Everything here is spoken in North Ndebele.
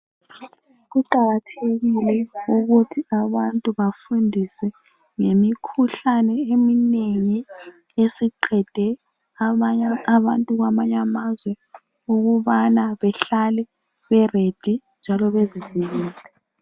Kuqakathekile ukuthi abantu bafundiswe ngemikhuhlane eminengi esiqede abantu kwamanye amazwe ukubana bahlel bezilungiselele njalo bezivikele.